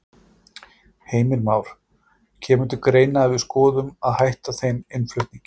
Heimir Már: Kemur til greina að við skoðum að hætta þeim innflutningi?